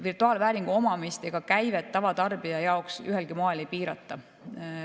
Virtuaalvääringu omamist ega käivet tavatarbija jaoks ühelgi moel ei piirata.